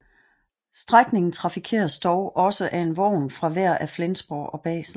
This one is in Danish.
Strækningen trafikeres dog også af en vogn fra hver af Flensborg og Basel